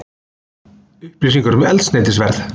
Upplýsingar um eldsneytisverð